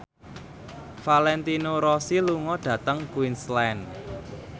Valentino Rossi lunga dhateng Queensland